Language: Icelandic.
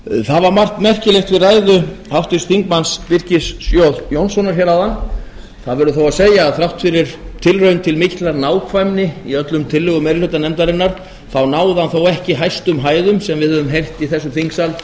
það var margt merkilegt við ræðu háttvirts þingmanns birkis j jónssonar hér áðan það verður þó að segja að þrátt fyrir tilraun til mikillar nákvæmni í öllum tillögum meiri hluta nefndarinnar náði hann þó ekki hæstu hæðum sem við höfum heyrt í þessum þingsal þó